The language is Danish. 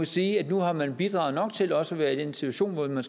sige at nu har man bidraget nok til også at være i den situation at man